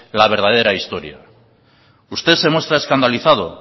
la verdadera historia usted se muestra escandalizado